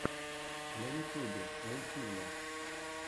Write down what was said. на ютьюбе мультфильмы